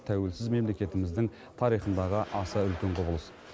тәуелсіз мемлекетіміздің тарихындағы аса үлкен құбылыс